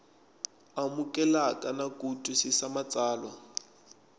amukeleka na ku twisisa matsalwa